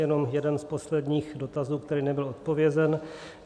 Jenom jeden z posledních dotazů, který nebyl odpovězen.